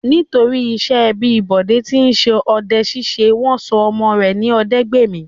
Nítorí iṣẹ́ ẹbí Bọ̀dé tí ń ṣe ọdẹ-ṣíṣe, wọ́n sọ ọmọ rẹ̀ ní Ọdẹ́gbèmí.